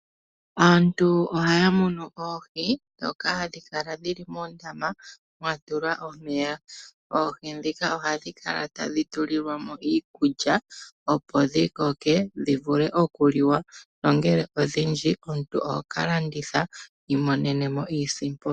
Aantu ohaya munu oohi dhoka hadhi kala dhili moondama mwatulwa omeya. Oohi dhika ohadhi kala tadhi tulilwamo iikulya opo dhikoke dhivule okuliwa, nongele odhindji omuntu ohokalanditha wiimonenemo iisimpo.